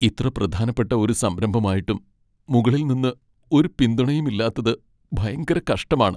ഇത്ര പ്രധാനപ്പെട്ട ഒരു സംരംഭമായിട്ടും മുകളിൽ നിന്ന് ഒരു പിന്തുണയും ഇല്ലാത്തത് ഭയങ്കര കഷ്ടമാണ്.